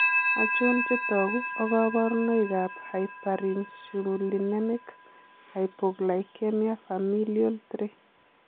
Achon chetogu ak kaborunoik ab Hyperinsulinemic hypoglycemia familial 3